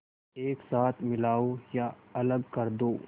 एक साथ मिलाओ या अलग कर दो